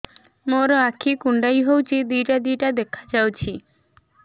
ମୋର ଆଖି କୁଣ୍ଡାଇ ହଉଛି ଦିଇଟା ଦିଇଟା ଦେଖା ଯାଉଛି